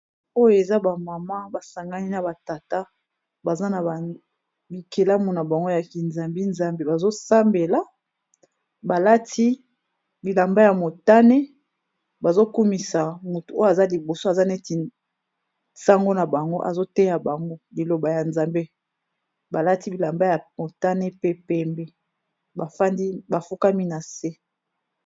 Oyo eza ba mama ba sangani na ba tata baza na bikelamu na bango ya kinzambi-zambi . Bazo sambela ba lati bilamba ya motane, bazo kumisa mutu oyo aza liboso, aza neti sango na bango azo teya bango liloba ya nzambe, ba lati bilamba ya motane pe pembe ba fandi ba fukami na se .